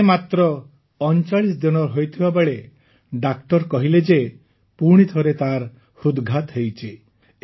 ସେ ମାତ୍ର ୩୯ ଦିନର ହୋଇଥିବା ବେଳେ ଡାକ୍ତର କହିଲେ ଯେ ପୁଣି ଥରେ ତାର ହୃଦଘାତ ହୋଇଛି